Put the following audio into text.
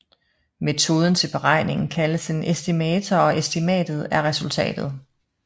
Metoden til beregningen kaldes en estimator og estimatet er resultatet